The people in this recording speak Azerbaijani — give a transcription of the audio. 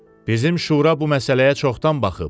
Bizim şura bu məsələyə çoxdan baxıb.